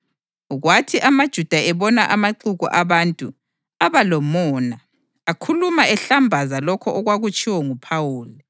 Kwathi amaJuda ebona amaxuku abantu, aba lomona, akhuluma ehlambaza lokho okwakutshiwo nguPhawuli.